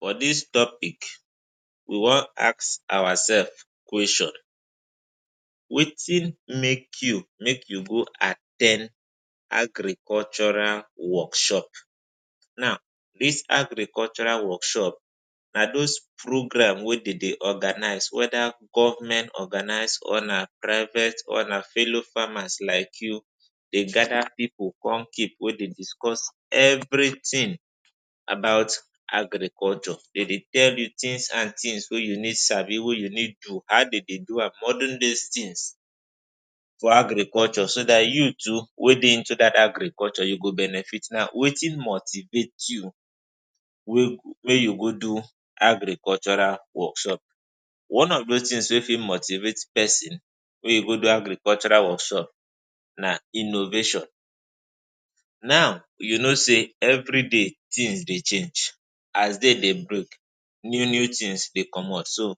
For dis topic, we wan ask oursef question: Wetin make you make you go at ten d agricultural workshop? Now, dis agricultural workshop na dose programs wey dem dey organise, weda Govment organise or na private or na fellow farmers like you. Dey gather pipu come keep wey dey discuss evritin about agriculture. Dem dey tell you tins and tins wey you need sabi, wey you need do, how dem dey do am, modern day tins for agriculture, so dat you too wey dey into dat agriculture, you go benefit. Now, wetin motivate you wey you go do agricultural workshop? One of dose tins wey fit motivate pesin wey you go do agricultural workshop na innovation. Now, you know say evriday tins dey change. As day dey break, new tins dey comot. So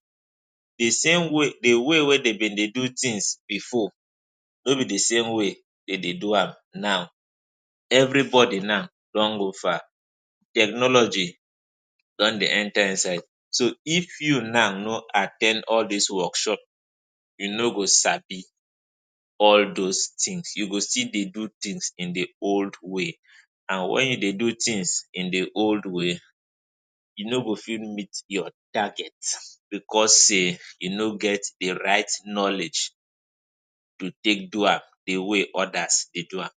di same way, di way wey dem dey do tins bifor no be di same way dem dey do am now. Evribody now don go far. Technology don dey enta inside. So if you now no at ten d all dis workshop, you no go sabi all dose tins. You go still dey do tins in di old way. And wen you dey do tins in di old way, you no go fit meet your target bicos say e no get di right knowledge to take do am di way odas dey do am.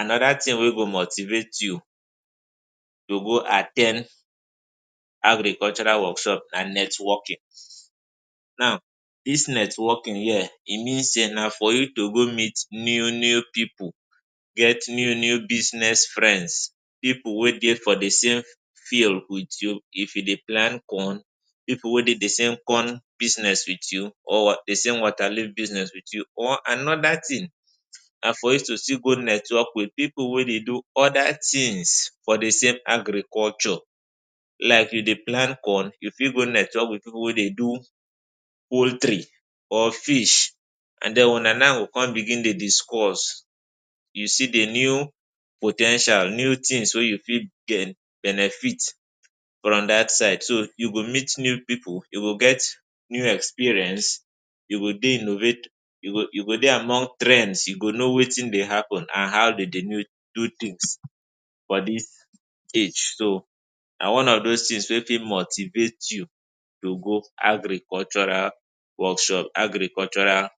Anoda tin wey go motivate you to go at ten d agricultural workshop na networking. Now dis networking here e mean say na for you to go meet new new pipu, get new new business friends, pipu wey dey for di same field wit you. If you dey plan corn, pipu wey dey di same corn business wit you or di same water leaf business wit you or anoda tin. And for you to still go network wit pipu wey dey do oda tins for di same agriculture, like you dey plan corn, you fit go network wit pipu wey dey do poultry or fish, and den una now go come begin dey discuss. You see di new po ten tial, new tins wey you fit get benefit from dat side. So you go meet new pipu, you go get new experience, you go dey innovate, you go dey among trends, you go know wetin dey happun and how dem dey do tins for dis age. So na one of dose tins wey fit motivate you to go agricultural workshop. Agricultural.